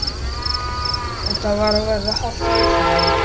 Þetta var að verða hálf vandræðalegt.